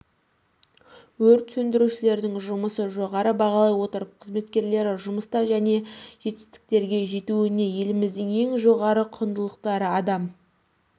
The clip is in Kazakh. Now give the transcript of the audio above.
өрт сөндірушілердің жұмысын жоғары бағалай отырып қызметкерлері жұмыста жаңа жетістіктерге жетуіне еліміздің ең жоғары құндылықтары адам